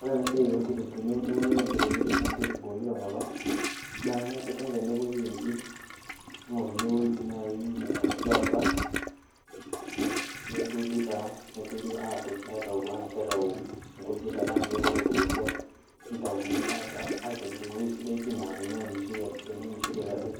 Ore ena siaai eunoto oonkitunguuni te nkop ang naa kengasi ninye kwasa nepuoi entim ningoruni orpura negasi taa aaturr angas aaitayu irkujit tenaa ninye irkeek ootubukutua nitayuni taa aitobiru ewueji sidai naa teneunishoi ade